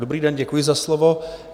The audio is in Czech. Dobrý den, děkuji za slovo.